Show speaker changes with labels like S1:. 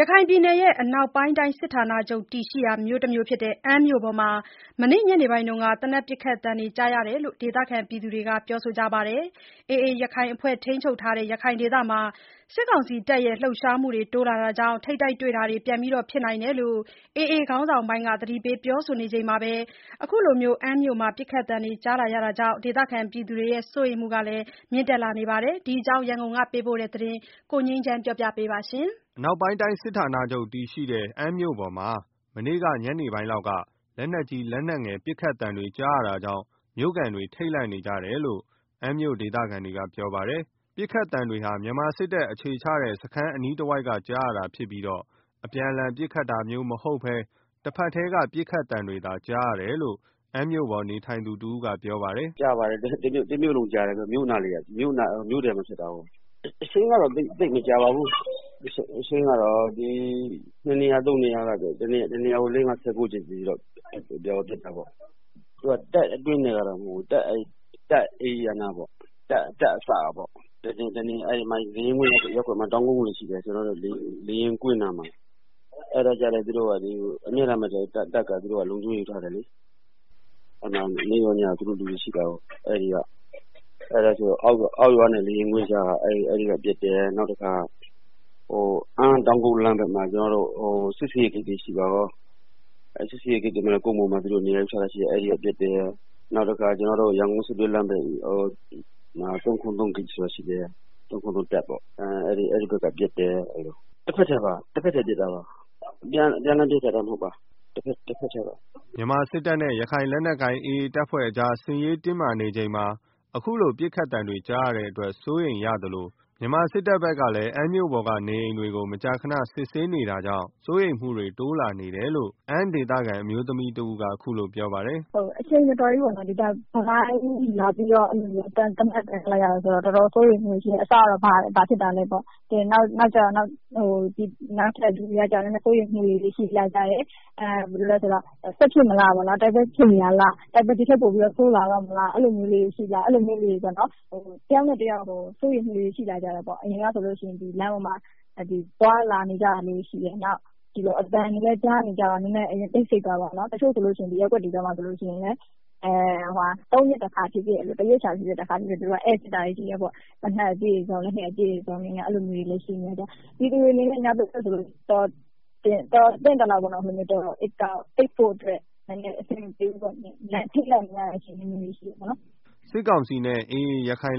S1: ရခိုင်ပြည်နယ်ရဲ့ အနောက်ပိုင်းတိုင်းစစ်ဌာနချုပ်တည်ရှိရာ မြို့ဖြစ်တဲ့ အမ်းမြို့ပေါ်မှာ မနေ့က ညနေအပိုင်းက သေနတ်ပစ်သံတွေ ကြားရတယ်လို့ ဒေသခံတွေက ပြောကြပါတယ်။ AA ရခိုင်အဖွဲ့ထိန်းချုပ်ရာ ရခိုင်ဒေသမှာ စစ်ကောင်စီတပ်လှုပ်ရှားမှုတွေတိုးလာကြောင့် ပြန်ပြီး ထိပ်တိုက်တွေ့လာစ်နိုင်တယ်လို့ AA ခေါင်းဆောင်ပိုင်းက သတိပေးပြောဆိုနေချိန်မှာပဲ အခုလို ပစ်ခတ်သံတွေ ကြားလာရတာကြောင့် ဒေသခံတွေ စိုးရိမ်မှုတွေမြင့် တက်လာနေပါတယ်။ ဒီအကြောင်း ရန်ကုန်ကပေးပို့တဲ့ သတင်းကို ကိုငြိမ်းချမ်းက တင်ပြပေးထားပါတယ်။
S2: အနောက်ပိုင်းတိုင်းစစ်ဌာနချုပ်တည်ရှိရာ မြို့ဖြစ်တဲ့ အမ်းမြို့ပေါ်မှာ မနေ့က ညနေအပိုင်းလောက်က လက်နက်ကြီးလက်နက်ငယ်တွေ ပစ်သံခတ်သံတွေ ကြားရတာကြောင့် မြို့ခံတွေ ထိတ်လန့်နေကြတယ်လို့ အမ်းမြို့ ဒေသခံတွေကပြောဆိုကြပါတယ်။ ပစ်ခတ်သံတွေဟာ မြန်မာစစ်တပ်အခြေချနေထိုင်တဲ့ စခန်းအနီးတဝိုက်က ကြားရတာဖြစ်ပြီး အပြန်အလှန်ပစ်ခတ်တာမျိုးမဟုတ်ဘဲ တဘက်တည်း ပစ်ခတ်သံတွေသာကြားရတယ်လို့ အမ်းမြို့ပေါ်နေထိုင်သူတဦးကပြောပါတယ်
S3: ။ “တမြို့လုံးကြားတယ်။ မြို့အနားမှာ ဖြစ်တာကို။ အချိန်ကတော့ သိပ်မကြာပါဘူး။ ပစ်တာကတာ့ ၂ နေရာ ၃ နေရာ ပစ်တာ။ တနေရာကို လေးငါးခြောက်ချက်လောက်ပေါ့။ သူက တပ် အတွင်းထဲကတော့ မဟုတ်ဘူး။ တပ်ဧရိယာနားကပေါ့၊ လေယာဉ်ကွင်းရပ်ကွက်မှာ တောင် ကုန်းတွေရှိတယ်။ အဲဒါကို အမြဲတမ်းပဲ တပ်က လုံခြုံရေးယူထားတယ်လေ။ အဲမှာ နေ့ရော ညရော သူတို့လူတွေရှိတာကို။ အောက်ရွာနဲ့ လေယာဉ်ကွင်းနား အဲဒီက ပစ်တယ်။ နောက်တခါ အမ်းတောင်ကုတ်လမ်းဘက်မှာ စစ်ဆေးရေးဂိတ်တွေ ရှိတယ်။ အဲဒီဘက်က ပစ်တယ်။ နောက်တခုက ရန်ကုန်-စစ်တွေလမ်းမှာ ၃၇၃ တပ်ဆိုတာရှိတယ်၊ အဲဒီဘက်ကပစ်တယ်၊ တဘက်တည်းပစ်တာပါ။ အပြန်အလှန်ပစ်တာမျိုးမဟုတ်ပါ တဘက်တည်းပါ
S2: ။” မြန်မာစစ်တပ်နဲ့ ရခိုင်လက်နက်ကိုင် AA အဖွဲ့ကြား စစ်ရေးတင်းမာနေတဲ့အချိန်မှာ အခုလို ပစ်ခတ်သံတွေ ကြားရတဲ့ အတွက် စိုးရိမ်ရသလို မြန်မာစစ်တပ်ဘက်ကလည်း အမ်းမြို့ပေါ်နေအိမ်တွေကိ မကြာခဏစစ်ဆေးနေတာတွေရှိတာကြောင့် စိုးရိမ်မှုတွေ တိုးလာနေတယ်လို့ အမ်းဒေသခံ အမျိုးသမီး တဦးကလည်း အခုလို ပြောပါတယ
S1: ်။ “အချိန်မတော်ကြီးပေါ့နော် သေနတ်သံတွေ ကြားရတယ်ဆိုတော့ တော်တော်စိုးရိမ် သွား တယ်။ အစကတော့ ဘာဖြစ်တာလဲပါ့။ နောက်ထပ်လည်း အသံတွေ ကြားရတော့ ပိုပြီးတော့ စိုးရိမ်လာကြာတယ် စစ်ဖြစ်မလားပေါ့။ တိုက်ပွဲဖြစ်နေတာလည်း ဒီထက်ပိုပြီးဆိုး လာမလား၊ အဲလို မျိုးတွေ တယောက်နဲ့ တယောက် စိုးရိမ်မှုတွေ ရှိလာကြတယ်။ အရင်ကဆိုရင် လမ်းပေါ်မှာ သွားလာနေကြတာလည်းရှိတယ်။ ဒီလိုအသံတွေ ကြားလာရတော့ နည်းနည်းတိတ်ဆိတ်သွားတာပေါ့နော်၊ တချို့ဆိုလို့ရှိရင် ရပ်ကွက်ထဲမှာပေါ့နော် သုံးရက် တခါလောက် ဖြစ်ဖြစ် တရက်တခါလောက်ဖြစ်ဖြစ် ဧည့်စာရင်းစစ်တာတွေရှိတယ်။ သေနတ်အပြည့်၊ လက်နက်အပြည့်နဲ့ အဲလိုမျိုးတွေလည်း ရှိနေတဲ့အခါကျတော့ ညအိပ်ရတာ တောင် အဆင်မပြေဘူး။ ထိတ်လန့်နေရတယ်။”
S2: စစ်ကောင်စီနဲ့ AA ရခိုင်